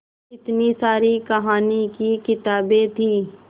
इतनी सारी कहानी की किताबें थीं